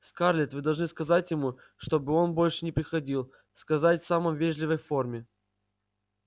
скарлетт вы должны сказать ему чтобы он больше не приходил сказать в самом вежливой форме